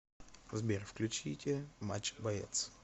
сбер включите матч боец